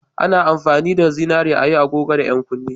A na amfani da zinari a yi agogo da 'yan kunne